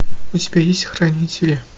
у тебя есть хранители